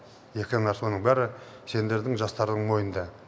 соның бәрі сендердің жастардың мойныңда